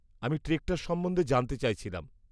আমি ট্রেকটার সম্বন্ধে জানতে চাইছিলাম।